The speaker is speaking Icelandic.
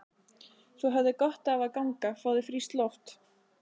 Þú hefðir gott af að ganga. fá þér frískt loft?